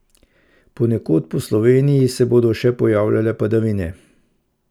Ponekod po Sloveniji se bodo še pojavljale padavine.